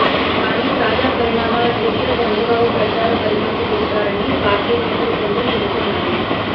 కానీ తాజా పరిణామాల దృష్ట్యా చంద్రబాబు ప్రచార బరిలోకి దిగుతారని పార్టీ నేతలు కొందరు చెబుతున్నారు